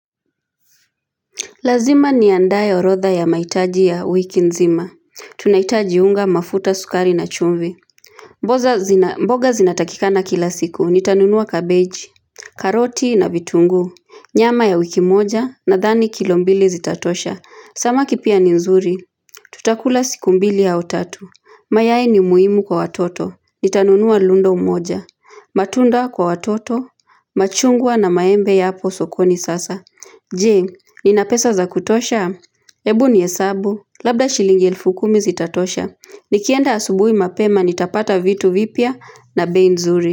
Lazima n andae orotha ya mahitaji ya wiki nzima. Tunahitaji unga mafuta, sukari na chumvi. Mboga zinatakikana kila siku. Nitanunua kabeji, karoti na vitungu. Nyama ya wiki moja nadhani kilo mbili zitatosha. Samaki pia ni nzuri. Tutakula siku mbili au tatu. Mayai ni muhimu kwa watoto. Nitanunua lundo moja. Matunda kwa watoto. Machungwa na maembe yapo sokoni sasa. Jee, ninapesa za kutosha? Ebu ni hesabu, labda shilingi elfu kumi zitatosha. Nikienda asubuhi mapema nitapata vitu vipya na bei nzuri.